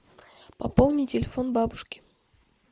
пополни телефон бабушке